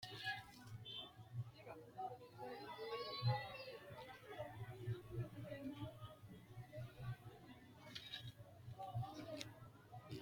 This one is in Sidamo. Isiliminu ama'no harunsano daga duuchu seeri noonsa wole ama'no harunsanowi baddanonsahu isi giddoni kuni lekka xaxi'ne ofolline sagadate gari nafa mittoho.